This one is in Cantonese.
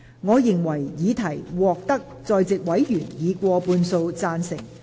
我認為議題獲得在席委員以過半數贊成。